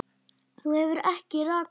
Þú hefur ekki rakað þig.